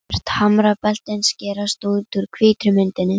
Svört hamrabeltin skerast út úr hvítri myndinni.